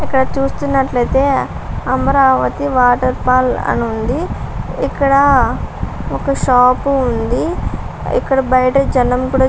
ఇక్కడ చూస్తున్నట్లయితే అమరావతి వాటర్ఫాల్ అని ఉంది ఇక్కడ ఒక షాపు ఉంది ఇక్కడ బయట జనం కూడా --